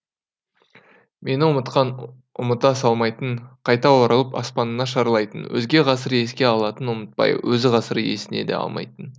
мені ұмытқан ұмытыла салмайтын қайта оралып аспанына шарлайтын өзге ғасыр еске алатын ұмытпай өз ғасыры есіне де алмайтын